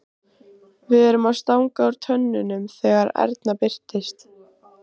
Við erum að stanga úr tönnunum þegar Erna birtist.